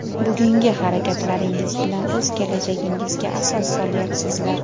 Bugungi harakatlaringiz bilan o‘z kelajagingizga asos solyapsizlar.